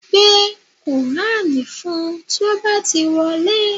Gbé kùránì fún un tí ó bá ti wọlé